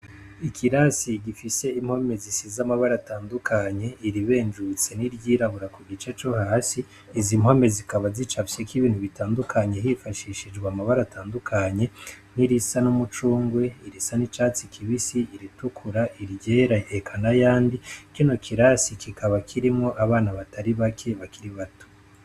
Ikirasi gifise impome zisize amabara atandukanye, iribenjutse n'iryirabura ku gice co hasi, izi mpome zikaba zicafyeko ibintu bitandukanye hifashishijwe amabara atandukanye, nk'irisa n'umucungwe, irisa n'icatsi kibisi, iritukura, iryera, eka n'ayandi, kino kirasi kikaba kirimwo abana batari bake bakiri bato.